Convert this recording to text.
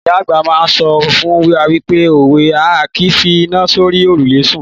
Ìyá àgbà máa ń sọ fún wa nípa òwe A kìí fi iná sórí òrùlé sùn.